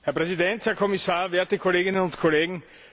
Herr Präsident, Herr Kommissar, werte Kolleginnen und Kollegen!